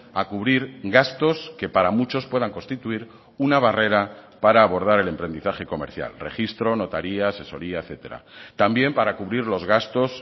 a cubrir gastos que para muchos puedan constituir una barrera para abordar el emprendizaje comercial registro notaría asesoría etcétera también para cubrir los gastos